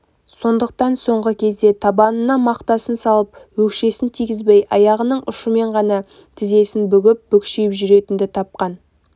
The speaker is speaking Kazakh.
сондықтан соңғы кезде табанына мақтасын салып өкшесін тигізбей аяғының ұшымен ғана тізесін бүгіп бүкшиіп жүретін тапқан